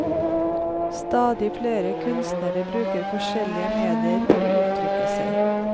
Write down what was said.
Stadig flere kunstnere bruker forskjellige medier for å uttrykke seg.